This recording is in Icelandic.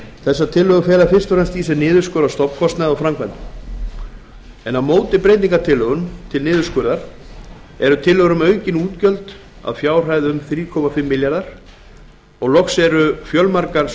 þessar tillögur fela fyrst og fremst í sér niðurskurð á stofnkostnaði og framkvæmdum á móti breytingartillögum til niðurskurðar útgjöldum eru tillögur um aukin útgjöld að fjárhæð alls þrjú komma fimm milljarðar króna loks eru fjölmargar